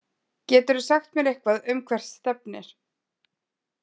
Geturðu sagt mér eitthvað um hvert stefnir?